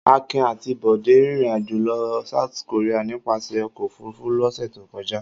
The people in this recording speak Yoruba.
Akin àti Bọ̀dé rìnrìn-àjò lọ South Korea nípasẹ̀ ọkọ̀-òfurufú lọ́sẹ̀ tó kọjá.